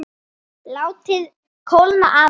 Látið kólna aðeins.